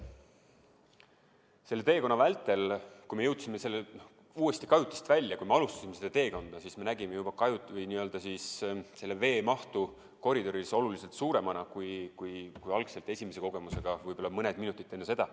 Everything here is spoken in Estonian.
Selle teekonna vältel, kui me jõudsime uuesti kajutist välja, me nägime kohe alguses veemahtu koridoris oluliselt suuremana kui algselt esimese kogemuse ajal, võib-olla mõned minutid enne seda.